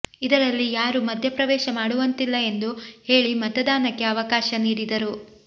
ಇದರಲ್ಲಿ ಯಾರೂ ಮಧ್ಯಪ್ರವೇಶ ಮಾಡುವಂತಿಲ್ಲ ಎಂದು ಹೇಳಿ ಮತದಾನಕ್ಕೆ ಅವಕಾಶ ನೀಡಿದರು